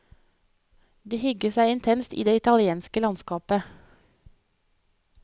De hygget seg intenst i det italienske landskapet.